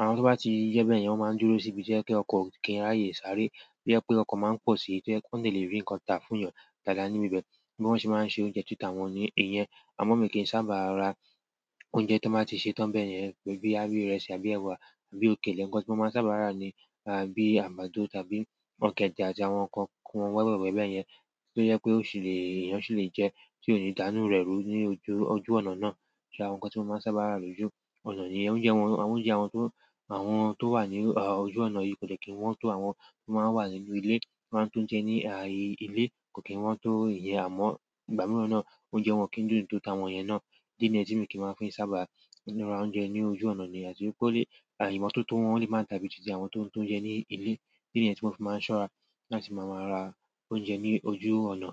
Àwọn tó bá ti yẹ bẹ́ẹ̀ yẹn, wọ́n máa ń dúró síbi to jẹ́ pe ọkọ̀ kí ń ráyè sáré, to je pé ọkọ̀ máa ń pọ̀ sí i, to jẹ́ pe won de lè rí nǹkan ta fún èèyàn dáadáa níbí ibẹ̀. Bí wọ́n ṣe máa ń ṣe oúnjẹ tí ta wọ́n ní ìyẹn, àmọ mi kì í sábà ra oúnjẹ tí wọ́n bá ti sè tán bẹ́ẹ̀ yẹn bíi àbí ìrẹsì àbí ẹ̀wà àbí òkèlè, nkọ́ tí wọ́n máa ń sábà rà ni bíi àgbàdo tàbí ọ̀kẹ́dẹ́ àti àwọn nǹkan wẹ́wẹ́ wẹ́wẹ́ bẹ́ẹ̀ yẹn. To jẹ pé ó ṣì lè, èèyàn ṣì lè jẹ́ tí ó ò ní dànù rẹ̀ rú ní ojú ọ̀nà náà. Àwọn nǹkan tí mo máa ń sábà rà lójú ọnà nìyẹn. Oúnjẹ àwọn tó wà ní ojú ọ̀nà yìí kò dẹ́ kí n wọ́n tó àwọn tó máa ń wà nínú ilé, wọ́n ń tún jẹ ní ilé, kò kí wọ́n tó ìyẹn àmọ́, ìgbà mìíràn náà oúnjẹ wọn kì í dùn tó ta wọn yẹn náà. Idí ni yẹ́n ti mi kì í máa fi ń sábà ra oúnjẹ ní ojú ọ̀nà nìyẹn. Àti wipẹ́ àìmo tótó wọn lè máa ń ta bíi tìtì àwọn tó ń ta oúnjẹ ní ilé, ìdí niyẹ́n tí mọ́ n fi máa ń ṣọ́ra láti máa máa ra oúnjẹ ní ojú ọ̀nà.